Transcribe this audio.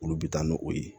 Olu bɛ taa n'o o ye